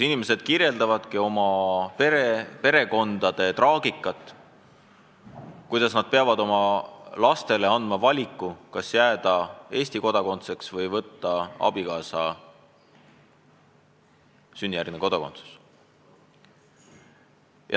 Inimesed kirjeldavadki oma perekonna traagikat, kuna nad peavad oma lastel laskma valida, kas jääda Eesti kodanikuks või võtta teise vanema sünnijärgne kodakondsus.